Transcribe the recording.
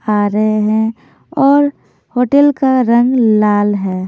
हारे हैं और होटल का रंग लाल है।